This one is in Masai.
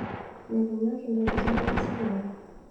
mikinyor intokitin esulare